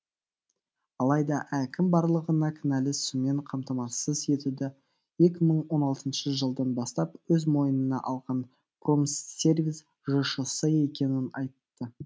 алайда әкім барлығына кінәлі сумен қамтамассыз етуді екі мың он алтыншы жылдан бастап өз мойынына алған промсервис жшс екенін айтты